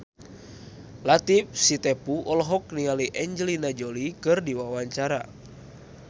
Latief Sitepu olohok ningali Angelina Jolie keur diwawancara